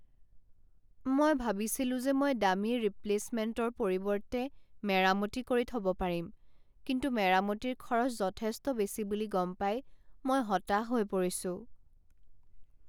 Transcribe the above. মই ভাবিছিলো যে মই দামী ৰিপ্লে'চমেণ্টৰ পৰিৱৰ্তে মেৰামতি কৰি থব পাৰিম, কিন্তু মেৰামতিৰ খৰচ যথেষ্ট বেছি বুলি গম পাই মই হতাশ হৈ পৰিছো।